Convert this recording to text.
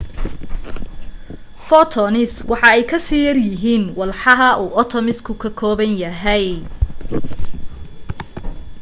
photons waxa ay kasii yaryihiin walxaha uu atoms-ka ka kooban yahay